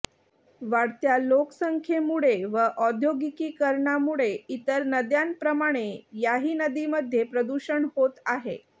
वाढत्या लोकसंख्येमुळे व औद्योगिकीकरणामुळे इतर नद्यांप्रमाणे याही नदीमध्ये प्रदूषण होत आहे